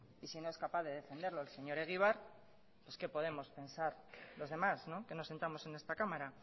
y si no es capaz de defenderlo el señor egibar pues qué podemos pensar los demás que nos sentamos en esta cámara